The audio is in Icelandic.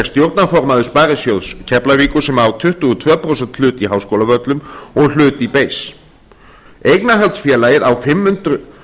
stjórnarformaður sparisjóðs keflavíkur sem á tuttugu og tveggja prósenta hlut í háskólavöllum og hlut í ber eignarhaldsfélagið fimm hundruð